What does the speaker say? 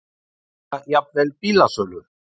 eða jafnvel bílasölu.